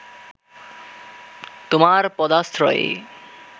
তোমার পদাশ্রয়ে